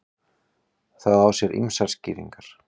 Það á sér ýmsar skýringar.